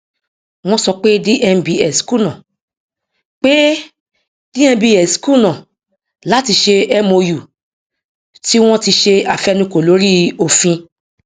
wọn sọ pé dmbs kùnà pé dmbs kùnà láti ṣe mou tí wọn ti ṣe àfẹnukò lórí òfin